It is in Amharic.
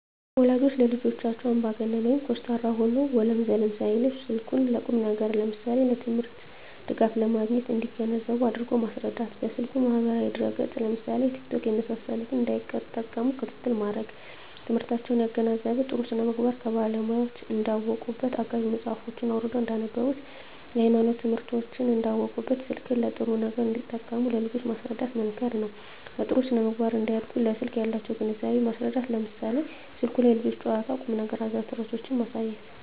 ወላጆች ለልጆቻቸው አምባገነን (ኮስታራ) ሆነው ወለም ዘለም ሳይሉ ስልኩን ለቁም ነገር ለምሳሌ ለትምህርት ድጋፍ ለማግኘት እንዲገነዘቡ አድርጎ ማስረዳት። በስልኩ ማህበራዊ ድረ ገፅ ለምሳሌ ቲክቶክ የመሳሰሉትን እንዳይጠቀሙ ክትትል ማድረግ። ትምህርታቸውን ያገናዘበ , ጥሩ ስነምግባር ከባለሙያወች እንዳውቁበት , አጋዥ መፅሀፎችን አውርደው እንዳነቡብት, የሀይማኖት ትምህርቶችን እንዳውቁበት , ስልክን ለጥሩ ነገር እንዲጠቀሙ ለልጆች ማስረዳት መምከር ነው። በጥሩ ስነ-ምግባር እንዲያድጉ ለስልክ ያላቸውን ግንዛቤ ማስረዳት ለምሳሌ ስልኩ ላይ የልጆች ጨዋታ ቁም ነገር አዘል ተረቶችን ማሳየት